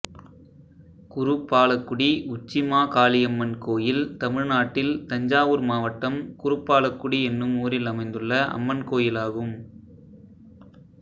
குருப்பாலக்குடி உச்சிமாகாளியம்மன் கோயில் தமிழ்நாட்டில் தஞ்சாவூர் மாவட்டம் குருப்பாலக்குடி என்னும் ஊரில் அமைந்துள்ள அம்மன் கோயிலாகும்